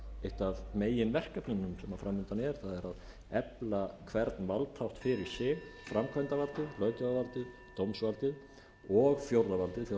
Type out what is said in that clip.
eitt af meginverkefnunum sem fram undan er það er að efla hvern málsþátt fyrir sig framkvæmdarvaldið löggjafarvaldið dómsvaldið og fjórða valdið